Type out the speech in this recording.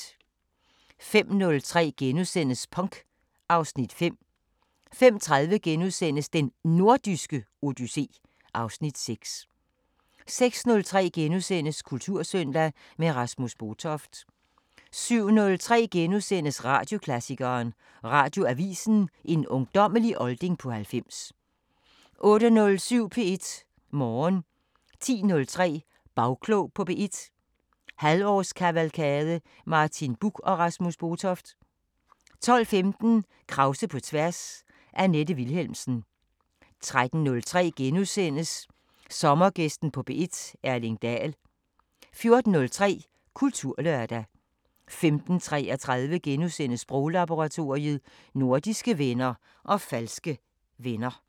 05:03: Punk (Afs. 5)* 05:30: Den Nordiske Odyssé (Afs. 6)* 06:03: Kultursøndag – med Rasmus Botoft * 07:03: Radioklassikeren: Radioavisen – en ungdommelig olding på 90 * 08:07: P1 Morgen 10:03: Bagklog på P1 – halvårskavalkade: Martin Buch og Rasmus Botoft 12:15: Krause på tværs: Annette Vilhelmsen 13:03: Sommergæsten på P1: Erling Daell * 14:03: Kulturlørdag 15:33: Sproglaboratoriet: Nordiske venner og falske venner *